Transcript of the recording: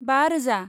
बा रोजा